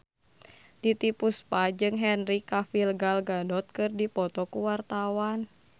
Titiek Puspa jeung Henry Cavill Gal Gadot keur dipoto ku wartawan